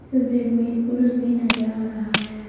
इस भीड़ में एक पुरुष भी नज़र आ रहा है।